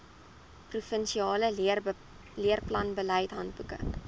provinsiale leerplanbeleid handboeke